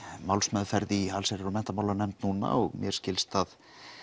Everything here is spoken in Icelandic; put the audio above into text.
málsmeðferð í alsherjar og menntamálanefnd núna og mér skilst að